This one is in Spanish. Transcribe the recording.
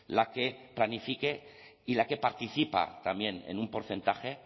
la que planifique y la que participa también en un porcentaje